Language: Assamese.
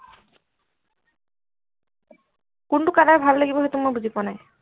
কোনটো color ভাল লাগিব সেইটো মই বুজি পোৱা নাই